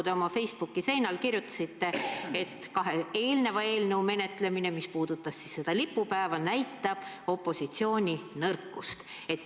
Te oma Facebooki seinal kirjutasite, et kahe eelnimetatud eelnõu menetlemine, mis puudutasid lipupäeva, näitab opositsiooni nõrkust.